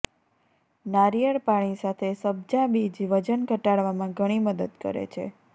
નાળિયેર પાણી સાથે સબ્જા બીજ વજન ઘટાડવામાં ઘણી મદદ કરે છે